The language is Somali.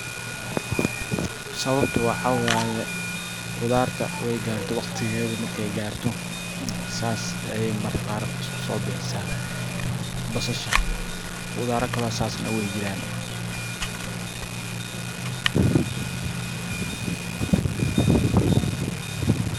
Sababta waxaa waye qudarta way garte waqtigeedi markay garto sas ayay mararka qaar isku so bixisa basasha qudara kalo sas na way jiran.